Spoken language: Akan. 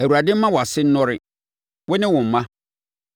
Awurade mma wʼase nnɔre, wo ne wo mma.